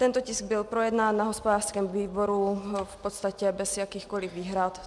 Tento tisk byl projednán na hospodářském výboru v podstatě bez jakýchkoliv výhrad.